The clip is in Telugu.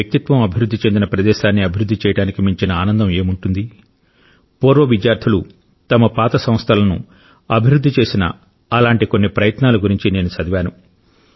మీ వ్యక్తిత్వం అభివృద్ధి చెందిన ప్రదేశాన్ని అభివృద్ధి చేయడానికి మించిన ఆనందం ఏముంటుంది పూర్వ విద్యార్థులు తమ పాత సంస్థలను అభివృద్ధి చేసిన అలాంటి కొన్ని ప్రయత్నాల గురించి నేను చదివాను